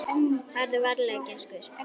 Farðu varlega gæskur.